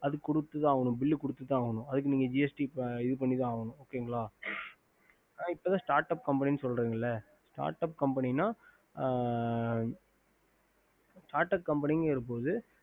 அதுக்கு குடுத்துத ஆகணும் bill குடுத்துத ஆகணும் அதுக்கு நீங்க gst bill குடுத்துத ஆகணும் start of company